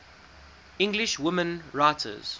english women writers